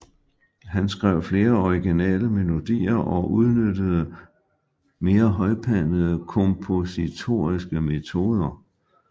Han skrev flere originale melodier og udnyttede mere højpandede kompositoriske metoder